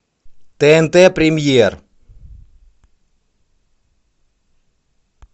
тнт премьер